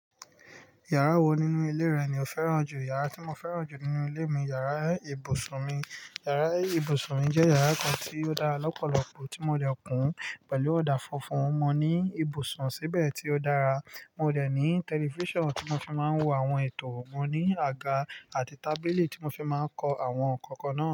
Yàrá wo nínú ilé rẹ ni o fẹ́ràn jù? Yàrá tí mo fẹ́ràn jù nínú ilé mi yàrá ibùsùn mi. Yàrá ibùsùn mi jẹ́ yàrá kan tí ó dára lọ́pọ̀lọpọ̀ tí mo lè kùn pẹ̀lú ọ̀dà funfun. Mo ní ibùsùn síbẹ̀ tí ó dára. Mo dè ní tẹlifíṣàn tí mo fi máa ń wo àwọn ètò. Mo ní àga àti tábìlì tí mo fi máa ń ko àwọn nǹkan kan.